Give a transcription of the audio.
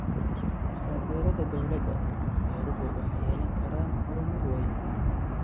Taageerada dawladda, beeruhu waxay yeelan karaan horumar weyn.